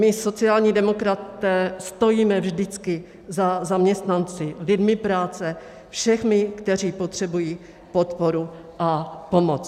My sociální demokraté stojíme vždycky za zaměstnanci, lidmi práce, všemi, kteří potřebují podporu a pomoc.